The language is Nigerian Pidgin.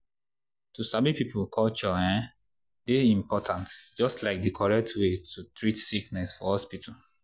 to sabi people culture um dey important just like di correct way to treat sickness for hospital.